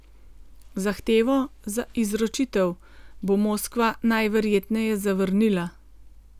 Zahtevo za izročitev bo Moskva najverjetneje zavrnila.